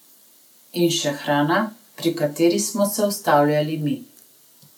In še hrana, pri kateri smo se ustavljali mi.